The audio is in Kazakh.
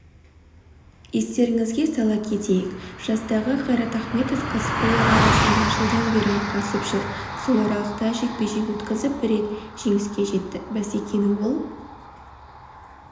естеріңізге сала кетейік жастағы қайрат ахметов кәсіпқойлар арасында жылдан бері айқасып жүр сол аралықта жекпе-жек өткізіп рет жеңіске жетті бәсекені ол